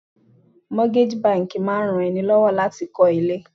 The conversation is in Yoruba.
Mọ́tígájì báńkì máa ran ni lọ́wọ́ láti kọ́ ilé.